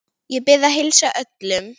Ég bið að heilsa öllum.